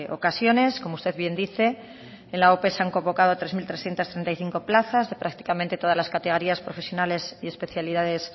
ocasiones como usted bien dice en la ope están convocadas tres mil trescientos treinta y cinco plazas prácticamente en todas las categorías profesionales y especialidades